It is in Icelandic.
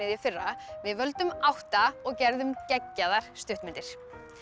í fyrra við völdum átta og gerðum geggjaðar stuttmyndir